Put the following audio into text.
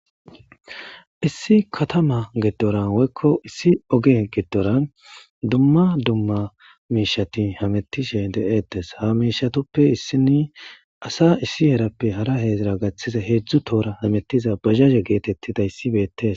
Issi katama gidoran woykko issi oge giddoran dumma dumma miishati hametishe deeettes ha miishatoppe issini asa issi erappe hara heedzira gaththise heedzdzu toora hamettiza bajaje geetettida issibeettes.